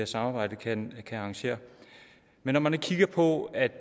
samarbejde kan arrangere men når man kigger på at